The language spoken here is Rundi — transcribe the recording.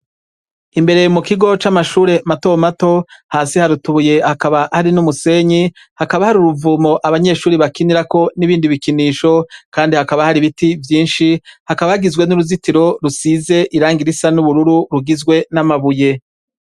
Imbere mukigo camashure matomato hasi haratoye hakaba hari numusenyi hakaba hari uruvomo abanyeshure bakinirako ibindi bikinisho ho kandi hakaba hari ibiti vyinshi hakaba hagizwe nuruzitiro rusize irangi risa nubururu ruguzwe namabuye